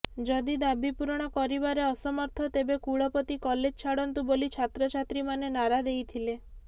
ଯଦି ଦାବି ପୂରଣ କରିବାରେ ଅସମର୍ଥ ତେବେ କୁଳପତି କଲେଜ ଛାଡ଼ନ୍ତୁ ବୋଲି ଛାତ୍ରଛାତ୍ରୀମାନେ ନାରା ଦେଇଥିଲେ